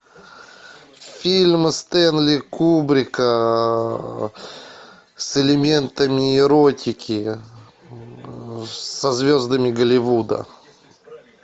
фильм стэнли кубрика с элементами эротики со звездами голливуда